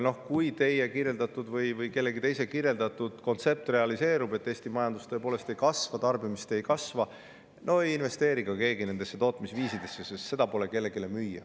Kui realiseerub teie või kellegi teise kirjeldatud kontsept, et Eesti majandus tõepoolest ei kasva, tarbimine ei kasva, siis ei investeeri ka keegi nendesse tootmisviisidesse, sest pole kellelegi müüa.